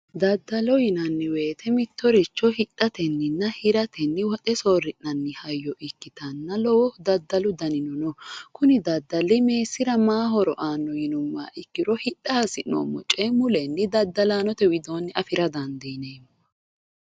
Daddalo yinanni woyiite mittoricho hidhatenninna hiratenni woxe soorri'nanni hayyo ikkitanna lowo daddalu danino kuni daddali meessira maayi horo aanno yinummoha ikkiro hidha hasi'noommo coye mulenni daddalaanote widoonni afira dandiineemmo.